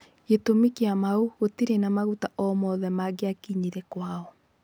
Gitũmi kia mau gũtirĩ na maguta o mothe maria magiakinyire kwao.